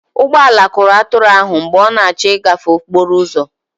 ụgbọ ala kụrụ atụrụ ahụ mgbe ọ na-achọ ịgafe okporo ụzọ